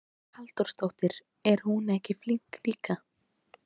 Hugrún Halldórsdóttir: Er hún ekki flink líka?